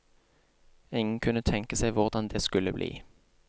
Ingen kunne tenke seg hvordan det skulle bli.